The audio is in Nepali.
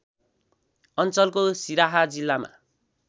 अञ्चलको सिराहा जिल्लामा